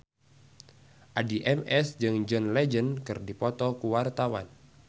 Addie MS jeung John Legend keur dipoto ku wartawan